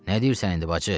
Nə deyirsən indi bacı?